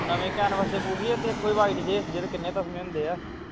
ਨਵੇਂ canves ਦੇ boot ਨਹੀਂ ਹੈ ਜਿਹੜੇ ਤੇਰੇ ਕੋਲ white ਜੇਹੀ ਜਿਸ ਦੇ ਕਿੰਨੇ ਹੀ ਤਸਮੇ ਹੁੰਦੇ ਹਨ